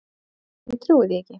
Ég trúi því ekki!